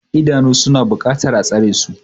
Idanu suna buƙatar a tsare su.